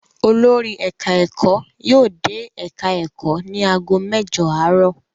Olórí ẹ̀ka-ẹ̀kọ́ yóò dé ẹ̀ka-ẹ̀kọ́ ní ago mẹ́jọ àárọ̀.